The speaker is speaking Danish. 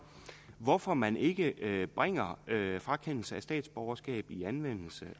hvorfor man ikke bringer med en frakendelse af statsborgerskabet i anvendelse